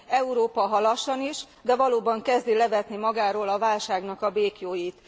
Európa, ha lassan is, de valóban kezdi levetni magáról a válságnak a béklyóit.